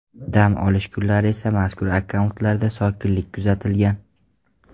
Dam olish kunlari esa mazkur akkauntlarda sokinlik kuzatilgan.